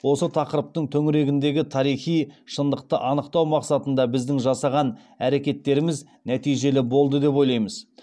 осы тақырыптың төңірегіндегі тарихи шындықты анықтау мақсатында біздің жасаған әрекеттеріміз нәтижелі болды деп ойлаймыз